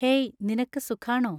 hey നിനക്ക് സുഖാണോ